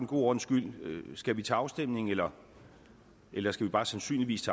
god ordens skyld høre skal vi til afstemning eller eller skal vi bare sandsynligvis